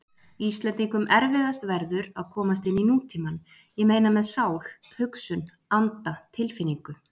Íslendingum erfiðast verður að komast inní nútímann- ég meina með sál, hugsun, anda, tilfinningu.